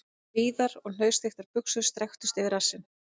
Víðar og hnausþykkar buxur strekktust yfir rassinn..